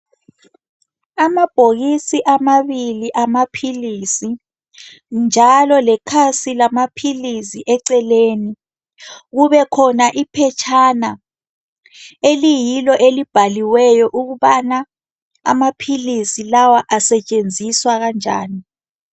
Amabhokisi amabili amaphilisi. Njalo lekhasi lamaphilisi eceleni, kube khona iphetshana eliyilo elibhaliweyo ukubana amaphilisi lawa asetshenziswa kanjani.